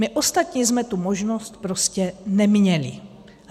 My ostatní jsme tu možnost prostě neměli.